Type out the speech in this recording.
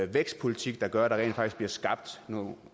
vækstpolitik der gør at der rent faktisk bliver skabt nogle